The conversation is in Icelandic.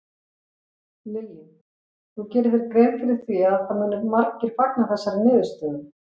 Lillý: Þú gerir þér grein fyrir því að muni margir fagna þessari niðurstöðu?